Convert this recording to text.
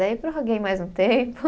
Aí prorroguei mais um tempo.